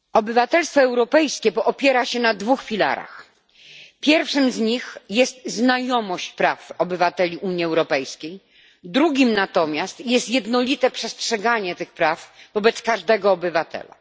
Panie Przewodniczący! Obywatelstwo europejskie opiera się na dwóch filarach. Pierwszym z nich jest znajomość praw obywateli Unii Europejskiej, drugim natomiast jest jednolite przestrzeganie tych praw wobec każdego obywatela.